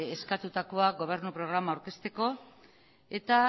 eskatutakoa gobernu programa aurkezteko eta